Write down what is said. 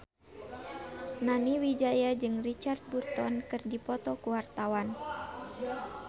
Nani Wijaya jeung Richard Burton keur dipoto ku wartawan